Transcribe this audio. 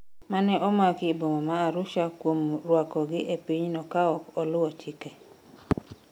mane omaki e boma ma Arusha kuom rwakogi e pinyno kaok oluw chike